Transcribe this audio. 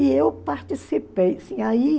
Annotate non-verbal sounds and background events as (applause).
E eu participei. (unintelligible)